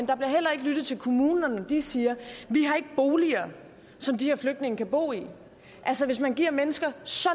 der bliver heller ikke lyttet til kommunerne når de siger vi har ikke boliger som de her flygtninge kan bo i altså hvis man giver mennesker så